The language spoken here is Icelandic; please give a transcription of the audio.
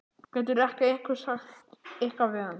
Getur ekki einhver sagt eitthvað við hann?